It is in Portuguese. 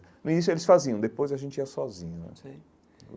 No início eles faziam, depois a gente ia sozinho né sei.